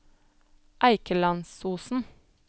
Eikelandsosen